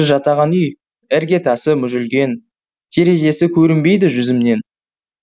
жатаған үй іргетасы мүжілген терезесі көрінбейді жүзімнен